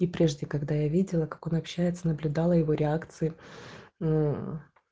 и прежде когда я видела как он общается наблюдала его реакции мм